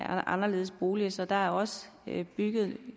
anderledes bolig så der er også bygget